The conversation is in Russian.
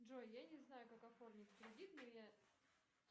джой я не знаю как оформить кредит но я